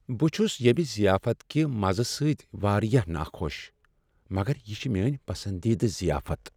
بہٕ چھس ییمِہ ضیافت کِہ مزٕ سۭتۍ واریاہ ناخوش مگر یہ چھ میٲنۍ پسندیدٕ ضیافت۔